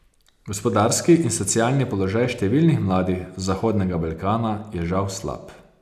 Gospodarski in socialni položaj številnih mladih z Zahodnega Balkana je žal slab.